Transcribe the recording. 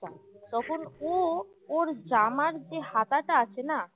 তখন ও ওর জামার যে হাতাটা আছে না